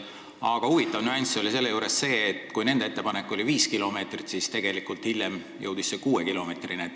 Aga huvitav nüanss on see, et kui asjaosaliste ettepanek oli viis kilomeetrit, siis lõpuks jõuti kuue kilomeetrini.